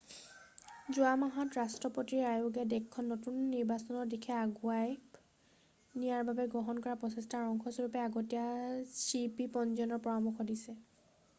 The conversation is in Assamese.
যোৱা মাহত ৰাষ্ট্ৰপতিৰ আয়োগে দেশখন নতুন নিৰ্বাচনৰ দিশে আগুৱাই নিয়াৰ বাবে গ্ৰহণ কৰা প্ৰচেষ্টাৰ অংশ স্বৰূপে আগতীয়া চিইপি পঞ্জীয়নৰ পৰামৰ্শ দিছে